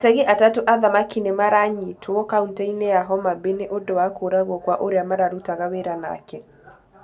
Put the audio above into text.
Ategi atatũ a thamaki nĩ maranyitwo kauntĩ-inĩ ya Homa Bay nĩ ũndũ wa kũragwo kwa ũrĩa marutaga wĩra nake.